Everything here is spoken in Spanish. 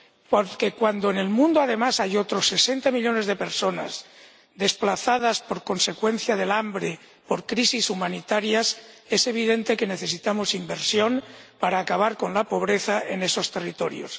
Porque, cuando en el mundo, además, hay otros sesenta millones de personas desplazadas a consecuencia del hambre por crisis humanitarias, es evidente que necesitamos inversión para acabar con la pobreza en esos territorios.